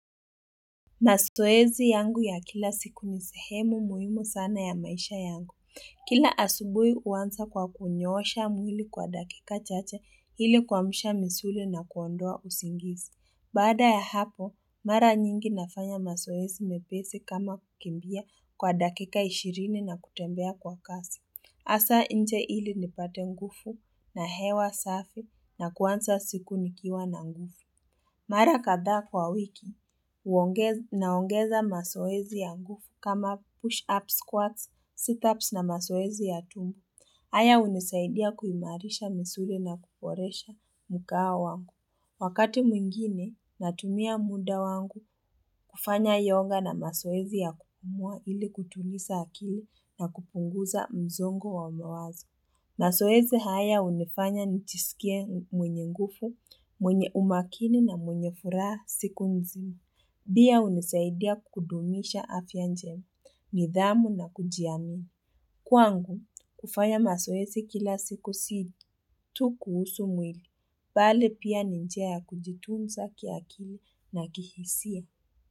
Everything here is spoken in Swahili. Masoezi yangu ya kila siku ni sehemu muhimu sana ya maisha yangu. Kila asubui uansa kwa kunyosha mwili kwa dakika chache hili kwamsha misuli na kuondoa usingisi. Bada ya hapo, mara nyingi nafanya masoezi mepesi kama kukimbia kwa dakika ishirini na kutembea kwa kasi. Asa inje hili nipate ngufu na hewa safi na kuansa siku nikiwa na ngufu. Mara kadha kwa wiki, naongeza masoezi ya ngufu kama push-up squats, sit-ups na masoezi ya tumu. Haya unisaidia kuhimarisha misuli na kuporesha mukaa wangu. Wakati mwingine, natumia muda wangu kufanya yoga na masoezi ya kupumua ili kutulisa akili na kupunguza mzongo wa umawazi. Masoezi haya unifanya nchisikie mwenye ngufo, mwenye umakini na mwenye furaha siku nzima. Bia unisaidia kukudumisha afya njema, nidhamu na kujianu. Kwangu, kufanya masoezi kila siku si tu kuhusu mwili, pale pia ni njia ya kujitumza kia kili na kihisia.